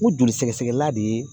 U joli sɛgɛsɛgɛla de ye